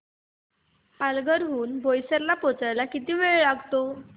पालघर हून बोईसर ला पोहचायला किती वेळ लागतो